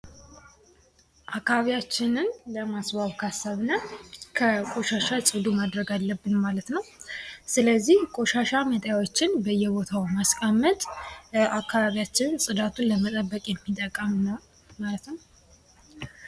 አካባቢያችንን ለማስዋብ ካሰብን ከቆሻሻ ፅዱ ማድረግ አለብን ስለዚህ ቆሻሻ ማስቀመጫዎችን በየቦታው በማስቀመጥ አካባቢያችን ጽዳቱን ለመጠቀም ማለት ነው ማለት ነው።